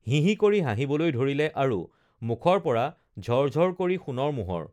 হিহি কৰি হাঁহিবলৈ ধৰিলে আৰু মুখৰ পৰা ঝৰ ঝৰ কৰি সোণৰ মোহৰ